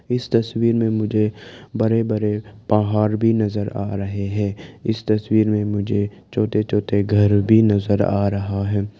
इस तस्वीर में मुझे बड़े बड़े पहाड़ भी नजर आ रहे हैं इस तस्वीर में मुझे छोटे छोटे घर भी नजर आ रहा है।